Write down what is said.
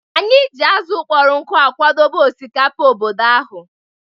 Anyị ji azụ̀ kpọrọ nkụ akwadebe osikapa obodo ụnyahụ.